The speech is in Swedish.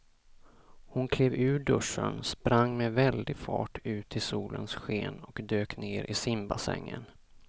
Hon klev ur duschen, sprang med väldig fart ut i solens sken och dök ner i simbassängen.